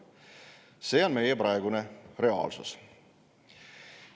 See on meie praegune reaalsus.